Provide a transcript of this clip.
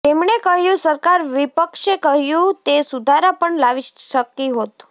તેમણે કહ્યું સરકાર વિપક્ષે કહ્યું તે સુધારા પણ લાવી શકી હોત